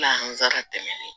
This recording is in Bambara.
tɛmɛnen